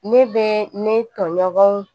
Ne bɛ ne tɔɲɔgɔnw